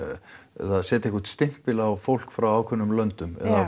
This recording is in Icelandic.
eða setja einhvern stimpil á fólk frá ákveðnum löndum eða